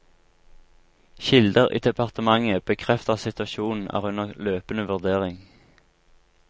Kilder i departementet bekrefter at situasjonen er under løpende vurdering.